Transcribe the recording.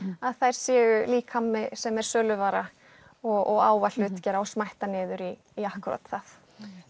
að þær séu líkami sem er söluvara og á að hlutgera og smætta niður í í akkúrat það